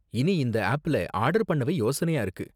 இனி இந்த ஆப்ல ஆர்டர் பண்ணவே யோசனையா இருக்கு